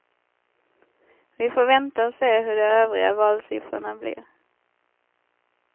Vi får vänta och se hur de övriga valsiffrorna blir.